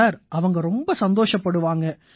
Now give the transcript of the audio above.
sir அவங்க ரொம்ப சந்தோஷப்படுவாங்க